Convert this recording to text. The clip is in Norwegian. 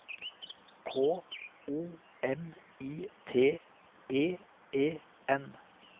K O M I T E E N